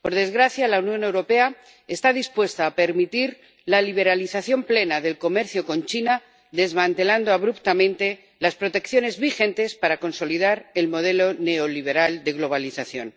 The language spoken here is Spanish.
Por desgracia, la Unión Europea está dispuesta a permitir la liberalización plena del comercio con China, desmantelando abruptamente las protecciones vigentes para consolidar el modelo neoliberal de globalización.